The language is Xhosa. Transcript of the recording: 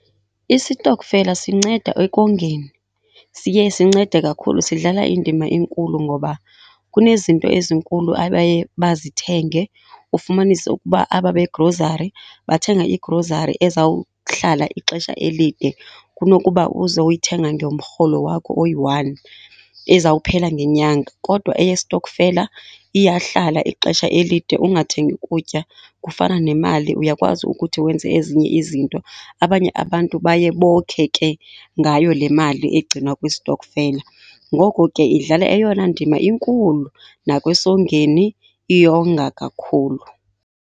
Isitokfela sinceda ekongeni, siye sincede kakhulu sidlala indima enkulu. Ngoba kunezinto ezinkulu abaye bazithenge, ufumanise ukuba aba begrozari bathenga igrozari ezawuhlala ixesha elide kunokuba uze uyithenge ngomrholo wakho oyi-one ezawuphela ngenyanga, kodwa eyesitokfela iyahlala ixesha elide ungathengi kutya. Kufana nemali, uyakwazi ukuthi wenze ezinye izinto, abanye abantu baye bokhe ke ngayo le mali egcinwa kwisitokfela. Ngoko ke idlala eyona ndima inkulu nasekongeni iyonga kakhulu.